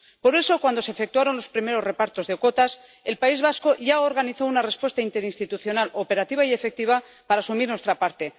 Por eso, cuando se efectuaron los primeros repartos de cuotas, el País Vasco ya organizó una respuesta interinstitucional operativa y efectiva para asumir nuestra parte.